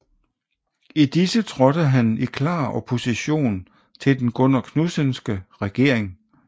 I disse trådte han i klar opposition til den Gunnar Knudsenske regering